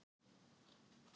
Héðinshöfða